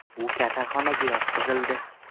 U kasalxonaga yotqizildi.